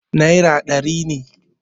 naira ɗari ne